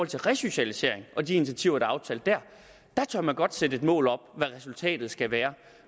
til resocialisering og de initiativer er aftalt der tør man godt sætte et mål op for resultatet skal være